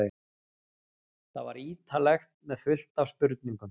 Það var ítarlegt með fullt af spurningum.